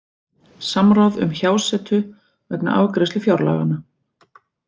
Samráð um hjásetu vegna afgreiðslu fjárlaganna